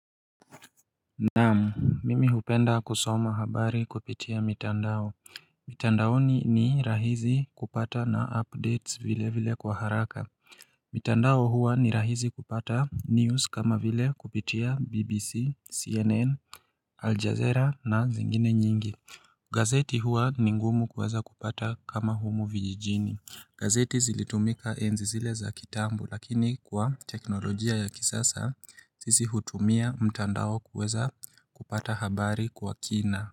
Naam mimi hupenda kusoma habari kupitia mitandao mitandaoni ni rahisi kupata na updates vile vile kwa haraka mitandao huwa ni rahisi kupata news kama vile kupitia bbc cnn aljazeera na zingine nyingi gazeti huwa ni ngumu kuweza kupata kama humu vijijini. Gazeti zilitumika enzi zile za kitambu lakini kwa teknolojia ya kisasa sisi hutumia mtandao kuweza kupata habari kwa kina.